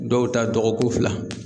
Dɔw ta dɔgɔkun fila